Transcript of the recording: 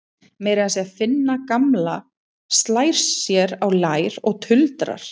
Meira að segja Finna gamla slær sér á lær og tuldrar